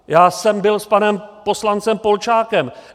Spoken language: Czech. Já jsem byl s panem poslancem Polčákem.